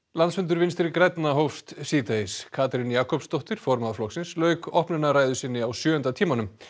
landsfundur Vinstri grænna hófst síðdegis Katrín Jakobsdóttir formaður lauk opnunarræðu sinni á sjöunda tímanum